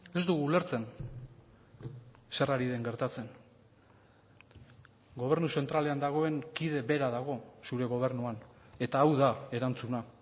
ez dugu ulertzen zer ari den gertatzen gobernu zentralean dagoen kide bera dago zure gobernuan eta hau da erantzuna